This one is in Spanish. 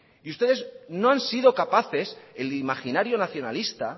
y ustedes no han sido capaces el imaginario nacionalista